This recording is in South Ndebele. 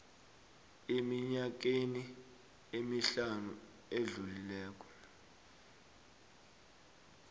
eminyakeni emihlanu ezako